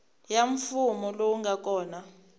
ya mfumo lowu nga kona